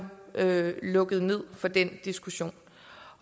lukket ned for den diskussion